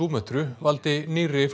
Súmötru valdi nýrri